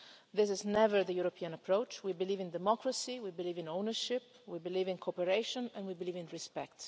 solution. That is never the European approach. We believe in democracy, we believe in ownership, we believe in cooperation and we believe